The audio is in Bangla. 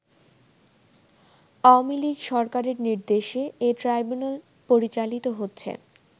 আওয়ামী লীগ সরকারের নির্দেশে এই ট্রাইব্যুনাল পরিচালিত হচ্ছে।